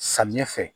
Samiɲɛ fɛ